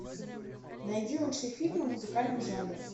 найди лучшие фильмы в музыкальном жанре